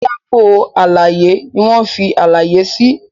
Pátákó àlàyé ní wón fí àlàyé sí.